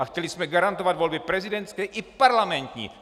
A chtěli jsme garantovat volby prezidentské i parlamentní!